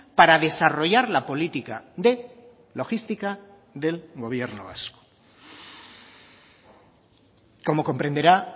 para desarrollar la política de logística del gobierno vasco como comprenderá